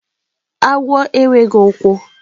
agwo enweghi ukwu.